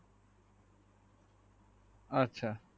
আচ্ছা